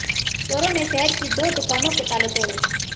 चोरों ने शहर की दो दुकानों के ताले तोड़े